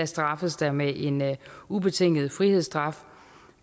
straffes der med en ubetinget frihedsstraf